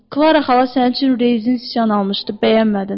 Klara xala sənin üçün rezindən sıçan almışdı, bəyənmədin.